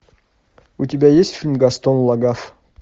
у тебя есть фильм гастон лагафф